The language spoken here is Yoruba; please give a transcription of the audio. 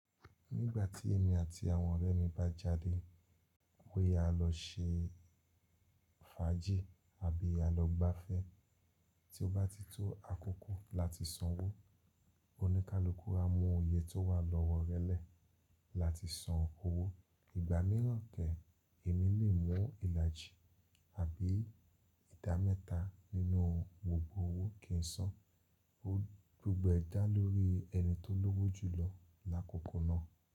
Nígbà tí èmi àti àwọn ọ̀rẹ́ mi bá jáde, bóyá a lọ ṣe fàájì àbí a lọ gbafẹ́, tí ó bá ti tó àkókò láti sanwó, oníkálukú á mú òye tó wà lọ́wọ́ rẹ lẹ́ẹ̀ láti san owó. Ìgbà míràn kẹ̀ẹ́, èmi lè mú ìlàjì àbí ìdámẹ́ta nínú gbogbo owó kí ń san. Ó gbogbo ẹ dá lórí ẹni tó lówó jù lọ lákòókò náà.